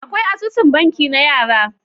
Akwai asusun banki na yara.